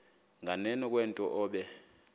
nganeno kwento obe